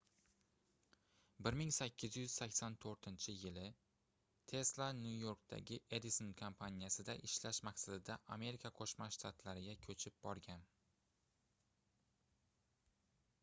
1884-yii tesla nyu-yorkdagi edison kompaniyasida ishlash maqsadida amerika qoʻshma shtatlariga koʻchib borgan